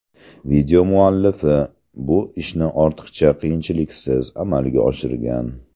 Video muallifi bu ishni ortiqcha qiyinchiliksiz amalga oshirgan.